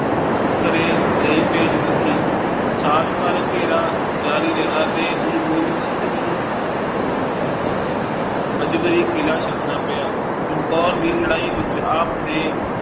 ਘਰੇ ਲਈ ਭੇਜ ਦਿੱਤੀ ਸਾਲ ਭਰ ਘੇਰਾ ਜਾਰੀ ਰਿਹਾ ਤੇ ਗੁਰੂ ਗੋਬਿੰਦ ਸਿੰਘ ਜੀ ਨੂੰ ਮਜਬਰੀ ਕਿਲ੍ਹਾ ਛੱਡਣਾ ਪਿਆ, ਚੰਮਕੌਰ ਦੀ ਲੜਾਈ ਵਿੱਚ ਆਪ ਦੇ